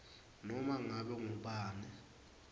noma ngabe ngubani